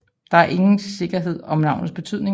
Der er ikke sikkerhed om navnets betydning